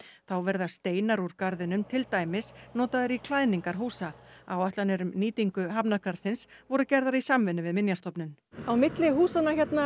þá verða steinar úr garðinum til dæmis notaðir í klæðningar húsa áætlanir um nýtingu hafnargarðsins voru gerðar í samvinnu við Minjastofnun á milli húsanna hérna